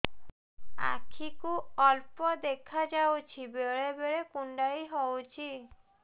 ଆଖି କୁ ଅଳ୍ପ ଦେଖା ଯାଉଛି ବେଳେ ବେଳେ କୁଣ୍ଡାଇ ହଉଛି